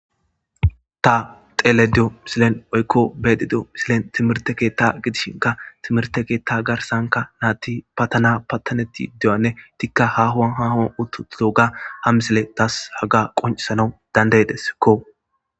Ta xelediyo misilen oykko bedidio misilen timirte keetta gidishinka timirte keetta garsanka naatti patana pattanetti iduyanne tikka ha huwan hahon uttutdo ga hamisile tas haga qoncsana dandaydeskko.